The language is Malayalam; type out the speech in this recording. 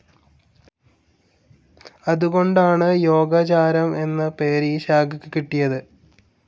അതുകൊണ്ടാണ്, യോഗാചാരം എന്ന പേര് ഈ ശാഖക്ക് കിട്ടിയത്.